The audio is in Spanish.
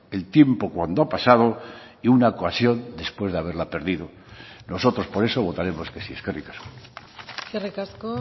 el tiempo cuando ha pasado y una ocasión después de haberla perdido nosotros por eso votaremos que sí eskerrik asko eskerrik asko